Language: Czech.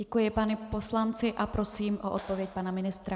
Děkuji panu poslanci a prosím o odpověď pana ministra.